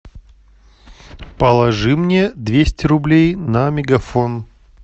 положи мне двести рублей на мегафон